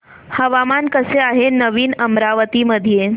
हवामान कसे आहे नवीन अमरावती मध्ये